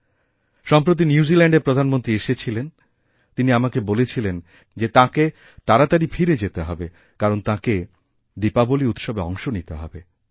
সম্প্রতি নিউজিল্যাণ্ডের প্রধানমন্ত্রী এসেছিলেন তিনি আমাকেবলেছিলেন যে তাঁকে তাড়াতাড়ি ফিরে যেতে হবে কারণ তাঁকে দীপাবলী উৎসবে অংশ নিতেহবে